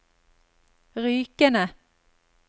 Rykene